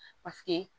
Paseke